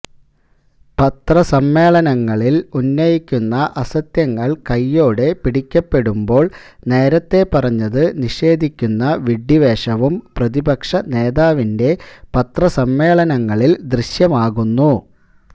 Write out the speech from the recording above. പത്രസമ്മേളനങ്ങളില് ഉന്നയിക്കുന്ന അസത്യങ്ങള് കയ്യോടെ പിടിക്കപ്പെടുമ്പോള് നേരത്തെ പറഞ്ഞത് നിഷേധിക്കുന്ന വിഡ്ഢിവേഷവും പ്രതിപക്ഷ നേതാവിന്റെ പത്രസമ്മേളനങ്ങളില് ദൃശ്യമാകുന്നു